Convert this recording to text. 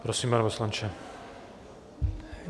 Prosím, pane poslanče.